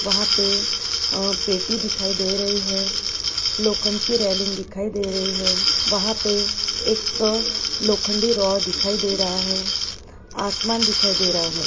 वहाँ पे पेटी दिखाई दे रहे हैं लोखन के रेलिंग दिखाई दे रहे हैं वहाँ पे एक लोखंडी राह दिखाई दे रहा है आसमान दिखाई दे रहा है ।